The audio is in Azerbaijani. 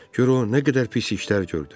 Gör o nə qədər pis işlər gördü.